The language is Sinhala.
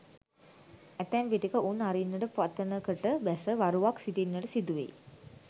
ඇතැම් විටෙක උන් අරින්නට පතනකට බැස වරුවක් සිටින්නට සිදු වෙයි.